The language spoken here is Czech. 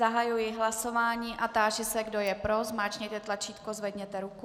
Zahajuji hlasování a táži se, kdo je pro, zmáčkněte tlačítko, zvedněte ruku.